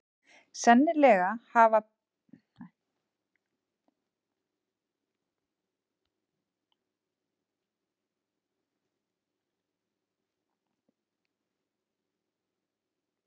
Sennilega hafði brekka lífsins reynst Björgu of brött.